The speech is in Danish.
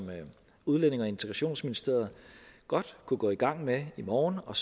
udlændinge og integrationsministeriet godt kunne gå i gang med i morgen og